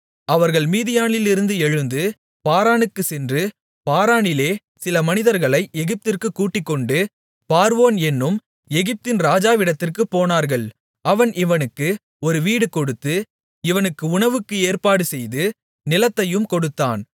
அவர்கள் மீதியானிலிருந்து எழுந்து பாரானுக்குச் சென்று பாரானிலே சில மனிதர்களை எகிப்திற்குக் கூட்டிக்கொண்டு பார்வோன் என்னும் எகிப்தின் ராஜாவிடத்திற்குப் போனார்கள் அவன் இவனுக்கு ஒரு வீடு கொடுத்து இவனுக்கு உணவுக்கு ஏற்பாடுசெய்து நிலத்தையும் கொடுத்தான்